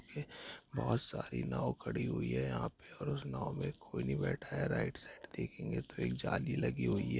बहुत सारी नाव खड़ी हुई है यहां पर और उस नाओ में कोई नहीं बैठा है राइट साइड देखेंगे तो एक जाली लगी हुई है।